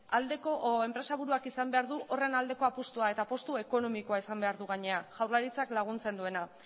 aldeko edo enpresaburuak izan behar du horren aldeko apustua eta apustu ekonomikoa izan behar du gainera jaurlaritzak laguntzen duena